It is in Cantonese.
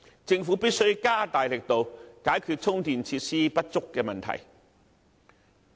政府必須加大力度，解決充電設施不足的問題。